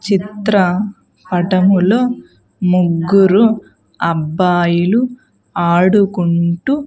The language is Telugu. చిత్ర పటములో ముగ్గురు అబ్బాయిలు ఆడుకుంటూ--